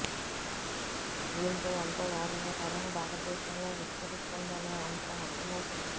దీంతో ఎంతో వేగంగా కరోనా భారతదేశంలో విస్తరిస్తుందనే అంశం అర్థమవుతోంది